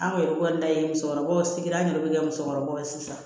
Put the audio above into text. Anw yɛrɛ kɔni ta ye musokɔrɔbaw sigi an yɛrɛ bɛ kɛ musokɔrɔbaw ye sisan